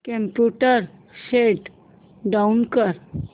computer shut down कर